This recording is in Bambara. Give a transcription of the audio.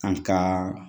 An ka